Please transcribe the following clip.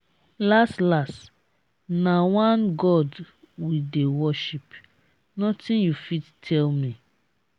las las na one god we dey worship nothing you fit tell me.